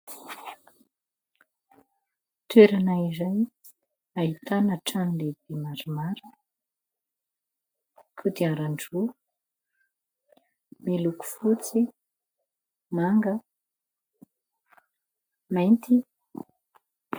Toerana iray ahitana trano lehibe maromaro, kodiaran-droa, miloko fotsy, manga, mainty.